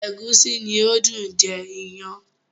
Ẹ̀gúsí ni ó dùn jẹ iyán.